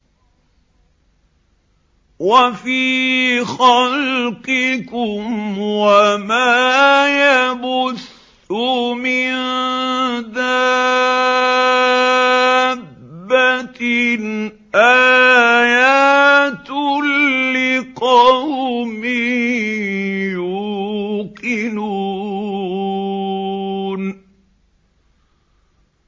وَفِي خَلْقِكُمْ وَمَا يَبُثُّ مِن دَابَّةٍ آيَاتٌ لِّقَوْمٍ يُوقِنُونَ